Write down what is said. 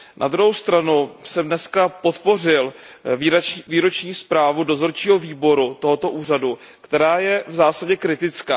Na druhou stranu jsem dnes podpořil výroční zprávu dozorčího výboru tohoto úřadu, která je v zásadě kritická.